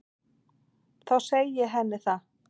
Þá segi ég henni það.